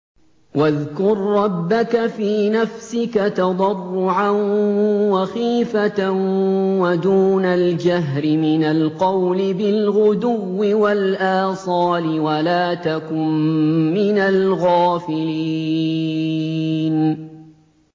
وَاذْكُر رَّبَّكَ فِي نَفْسِكَ تَضَرُّعًا وَخِيفَةً وَدُونَ الْجَهْرِ مِنَ الْقَوْلِ بِالْغُدُوِّ وَالْآصَالِ وَلَا تَكُن مِّنَ الْغَافِلِينَ